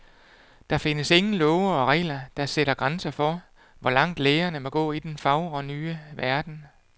Der findes ingen love og regler, der sætter grænser for, hvor langt lægerne må gå i den fagre nye verden.